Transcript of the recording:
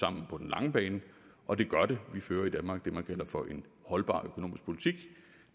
på den lange bane og det gør de vi fører i danmark det man kalder for en holdbar økonomisk politik og